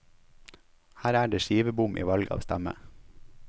Her er det skivebom i valg av stemme.